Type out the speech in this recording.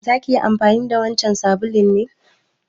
Za ki yi amfani da wancan sabulun ne?